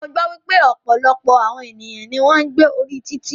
Mo gbọ́ wípé ọ̀pọ̀lọpọ̀ àwọn ènìyàn ní o ń gbé orí títì.